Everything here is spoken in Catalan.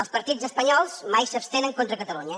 els partits espanyols mai s’abstenen contra catalunya